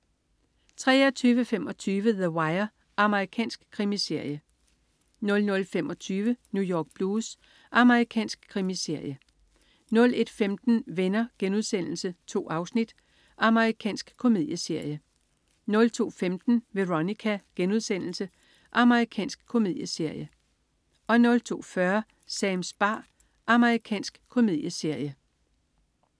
23.25 The Wire. Amerikansk krimiserie 00.25 New York Blues. Amerikansk krimiserie 01.15 Venner.* 2 afsnit. Amerikansk komedieserie 02.15 Veronica.* Amerikansk komedieserie 02.40 Sams bar. Amerikansk komedieserie